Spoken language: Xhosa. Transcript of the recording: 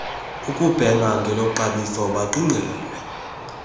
ukubhena ngeloxabiso baqingqelwe